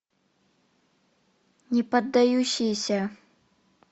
неподдающиеся